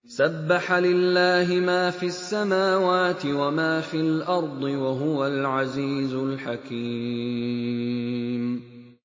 سَبَّحَ لِلَّهِ مَا فِي السَّمَاوَاتِ وَمَا فِي الْأَرْضِ ۖ وَهُوَ الْعَزِيزُ الْحَكِيمُ